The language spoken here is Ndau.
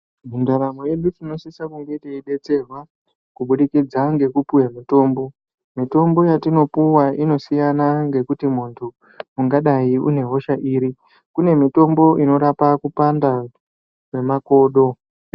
Mundaramo yedu tinosise kunge teiidetserwa kubudikidza ngekupuwe mitombo ,mitombo yatinopuwa inosiyana ngekuti munhu ungadai unehosha iri, kune mitombo inorapa kupanda kwemakodo.